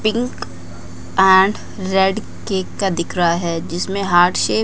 pink and red cake का दिख रहा है जिसमें हार्ट शेप --